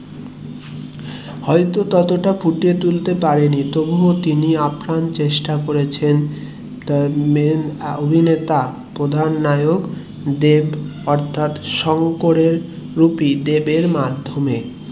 হয়তো তত টা ফুটিয়ে তুলতে পারেনি তবু ও তিনি আপ্রাণ চেষ্টা করেছেন main অভিনেতা প্রধান নায়ক দেব অর্থাৎ শঙ্করী রুপি দেব এর মাধ্যমে